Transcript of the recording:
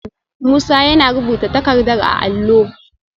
Musa yana rubuta takardar a allo